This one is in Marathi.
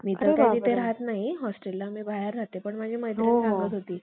मदतीने, मुसलमान लोकांप्रमाणे तलवारीने बुद्ध लोकांचा पराभव करून उन्नात्वाने त्या आपल्या,